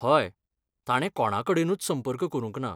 हय, ताणें कोणाकडेनूच संपर्क करूंक ना.